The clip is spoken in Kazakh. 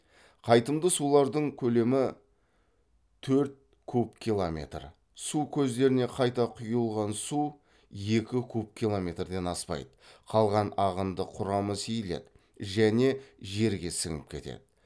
қайтымды сулардың көлемі төрт куб километр су көздеріне қайта құйылған су екі куб километрден аспайды қалған ағынды құрамы сейіледі және жерге сіңіп кетеді